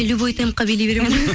любой темпке билей беремін ғой